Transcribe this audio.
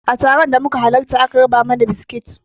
A taron da muka halarata aka raba mana biskit